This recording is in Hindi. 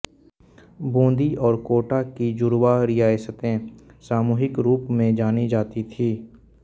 बूंदी और कोटा की जुडवा रियासतें सामूहिक रूप मे जानी जाती थी